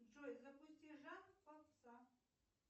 джой запусти жанр попса